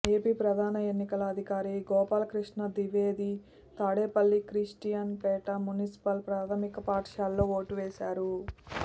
AP ప్రధాన ఎన్నికల అధికారి గోపాలక్రిష్ణ ద్వివేది తాడేపల్లి క్రిస్టియన్ పేట మున్సిపల్ ప్రాధమిక పాఠశాలలో ఓటు వేశారు